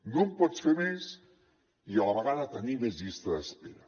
no en pots fer més i a la vegada tenir més llista d’espera